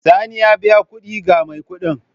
Sani ya biya kuɗi ga mai kuɗin.